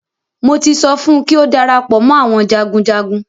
Mo ti sọ fún kí ó darapọ̀ mọ́ àwọn jagunjagun.